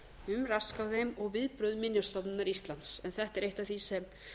um rask á þeim og viðbrögð minjastofnunar íslands þetta er eitt af því sem